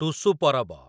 Tusu Parab